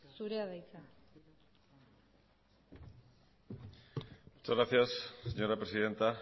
zurea da hitza muchas gracias señora presidenta